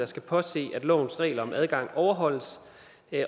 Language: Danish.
skal påse at lovens regler om adgang overholdes